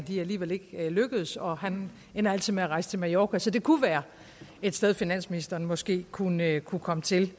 alligevel ikke lykkes og han ender altid med at rejse til mallorca så det kunne være et sted finansministeren måske kunne kunne komme til